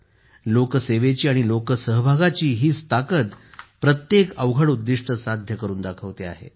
लोकसेवेची आणि लोकसहभागाची हीच ताकद प्रत्येक अवघड उद्दिष्टसाध्य करून दाखवते आहे